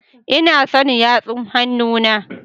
Ina son yatsu kannena